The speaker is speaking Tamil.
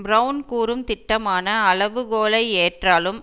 பிரெளன் கூறும் திட்டமான அளவு கோலை ஏற்றாலும்